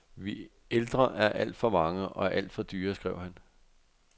Vi ældre er alt for mange og alt for dyre, skrev han.